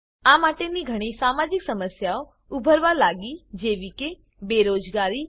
આ માટે ઘણી સામાજિક સમસ્યાઓ ઉભરવા લાગીજેવી કે બેરોજગારી